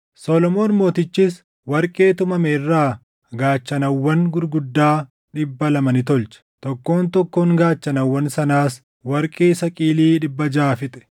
Solomoon Mootichis warqee tumame irraa gaachanawwan gurguddaa dhibba lama ni tolche; tokkoon tokkoon gaachanawwan sanaas warqee saqilii dhibba jaʼa fixe.